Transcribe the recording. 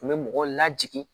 U bɛ mɔgɔw lajigin